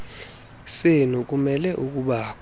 senu kumele ukubakho